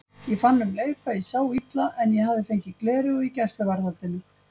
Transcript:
Ég fann um leið hvað ég sá illa en ég hafði fengið gleraugu í gæsluvarðhaldinu.